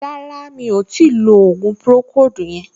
Rárá, mi ò tíì lo ògùn pùròkóòdù yẹn